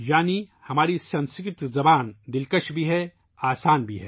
یعنی ہماری سنسکرت زبان میٹھی بھی ہے اور آسان بھی